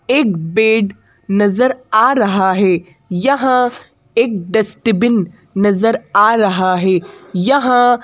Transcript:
एक बेड नज़र आ रहा है यहाँ एक डस्टबिन नज़र आ रहा है यहाँ --